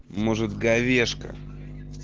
может говешка